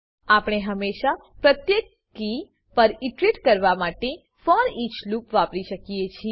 આપણે હેશમા પ્રત્યેક કી પર ઈટરેટ કરવા માટે ફોરીચ લૂપ વાપરી શકીએ છીએ